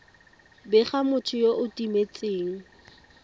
bega motho yo o timetseng